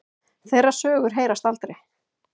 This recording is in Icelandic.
Þeirra sögur heyrast aldrei.